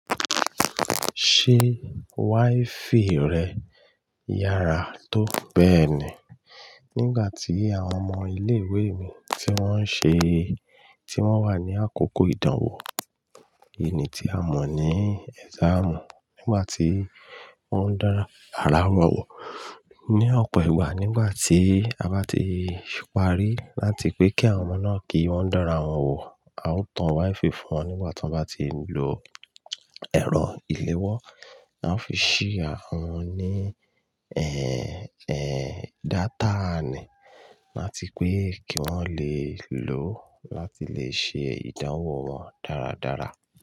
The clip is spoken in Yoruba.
Ṣé wifi rẹ yára tó bẹ́ẹ̀ ni? Nígbà tí àwọn ọmọ ilé ìwé mi tí wọ́n ń ṣe, tí wọ́n wà ní àkókò ìdánwò, èyí tí a mọ̀ ní exam, nígbà tí wọ́n ń dá n ara wọn wò. Ni ọ̀pọ̀ ìgbà nígbà tí a bá ti parí láti pẹ́ kí àwọn ọmọ náà kì í wọn dá ara wọn wò, a ó tan wifi fún wọn nígbà tí wọ́n bá ti lò ẹ̀rọ ìléwọ́. A ó fi ṣhare wọn ní, ẹ́, ẹ́, data ni láti pé kí wọ́n le lò ó láti le ṣe ìdánwò wọn dáradára.